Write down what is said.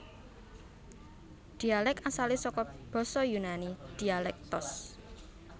Dhialèk asalé saka basa Yunani dialektos